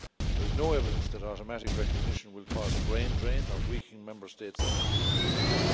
There is no evidence that automatic recognition will cause a brain drain or weaken Member States' education systems.